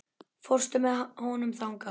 Fórstu með honum þangað?